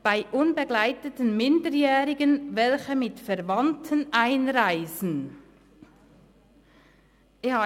«Bei unbegleiteten Minderjährigen, welche mit Verwandten einreisen […]».